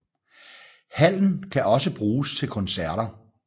Hallen kan også bruges til koncerter